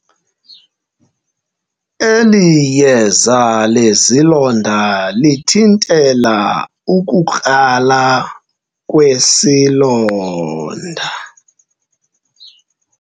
Eli yeza lezilonda lithintela ukukrala kwesilonda.